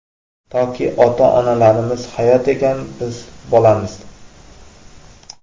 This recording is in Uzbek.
Toki ota-onalarimiz hayot ekan, biz bolamiz!.